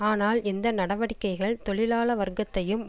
ஆனால் இந்த நடவடிக்கைகள் தொழிலாள வர்க்கத்தையும்